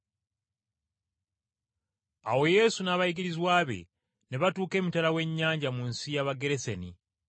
Awo Yesu n’abayigirizwa be ne batuuka emitala w’ennyanja mu nsi y’Abageresene.